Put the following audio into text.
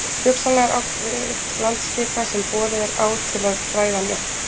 Hugsanlega er átt við landskika sem borið er á til að græða hann upp.